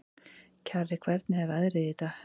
Kjarri, hvernig er veðrið í dag?